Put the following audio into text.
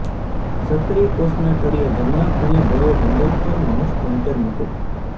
સક્રિય કોષના તળિયે જમણા ખૂણે ભરો હેન્ડલ પર માઉસ પોઇન્ટર મૂકો